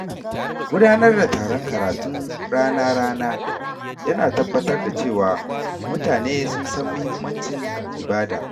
Gudanar da taron karatun rana-rana ya na tabbatar da cewa mutane sun san muhimmancin ibada.